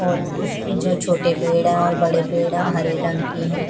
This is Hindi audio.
और उसमें जो छोटे पेड़ हैं और बड़े पेड़ हैं वो हरे रंग के हैं।